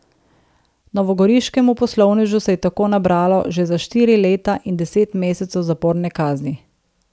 Novogoriškemu poslovnežu se je tako nabralo že za štiri leta in deset mesecev zaporne kazni.